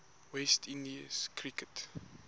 west indies cricket